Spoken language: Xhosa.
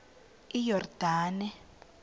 iyordane